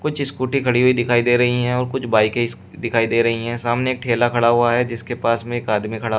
कुछ स्कूटी खड़ी हुई दिखाई दे रही हैं और कुछ बाइके इस दिखाई दे रही हैं सामने ठेला खड़ा हुआ है जिसके पास में एक आदमी खड़ा--